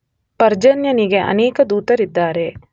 ಪರ್ಜನ್ಯನಿಗೆ ಅನೇಕ ದೂತರಿದ್ದಾರೆ.